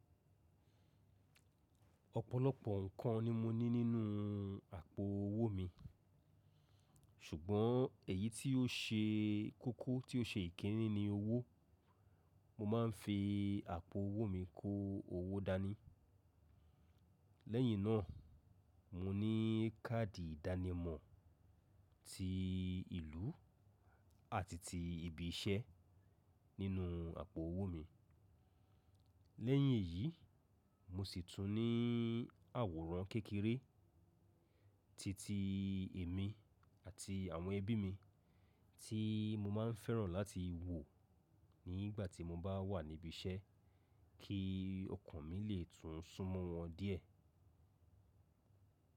Ọ̀pọ̀lọpọ̀ nǹkan ni mo ní nínú àpò owó mi, ṣùgbọ́n èyí tí ó ṣe kókó tí ó ṣe ìkíni ni owó. Mo ma ń fi àpò owó mi kó owó dání. Lẹ́yìn náà, mo ní káàdì ìdánimọ̀ ti ìlú àti ti ibi iṣẹ́ nínú àpò owó mi. Lẹ́yìn èyí, mo sì tún ní àwòrán kékeré ti ti èmi àti àwọn ẹbí mi tí mo máa ń fẹ́ràn láti wò nígbà tí mo bá wà níbi iṣẹ́ kí ọkàn mi lè tún súnmọ́ wọn díẹ̀.